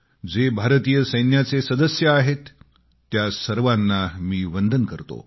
जे भारतीय सैन्याचे सदस्य आहेत त्या सर्वाना मी वंदन करतो